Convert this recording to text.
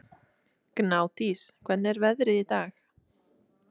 Gnádís, hvernig er veðrið í dag?